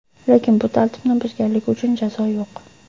Lekin bu tartibni buzganlik uchun jazo yo‘q.